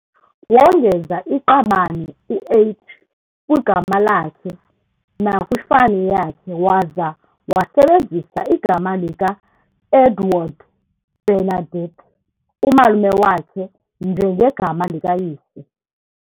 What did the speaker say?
Wongeza iqabane u"H" kwigama lakhe nakwifani yakhe, waza wasebenzisa igama likaEdouard Bernardt, umalume wakhe, njengegama likayise.